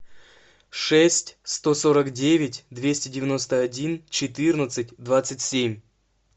шесть сто сорок девять двести девяносто один четырнадцать двадцать семь